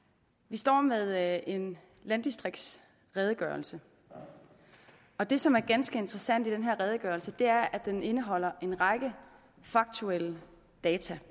står med en landdistriktsredegørelse og det som er ganske interessant i den her redegørelse er at den indeholder en række faktuelle data